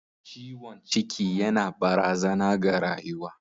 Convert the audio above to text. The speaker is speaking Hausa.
Ciwon ciki yana barazana ga rayuwa.